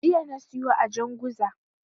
Jiya na siyo a Janguza.